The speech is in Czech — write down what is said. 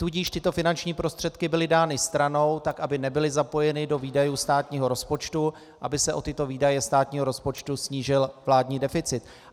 Tudíž tyto finanční prostředky byly dány stranou, tak aby nebyly zapojeny do výdajů státního rozpočtu, aby se o tyto výdaje státního rozpočtu snížil vládní deficit.